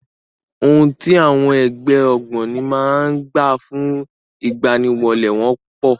Ohun tí àwọn ẹgbẹ́ ògbóni máa ń gbà fún ìgbaniwọlé wọn pọ̀.